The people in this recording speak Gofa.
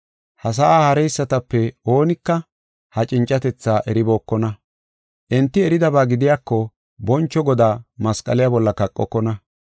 Ha sa7aa haareysatape oonika ha cincatetha eribookona. Enti eridaba gidiyako, boncho Godaa masqaliya bolla kaqokona.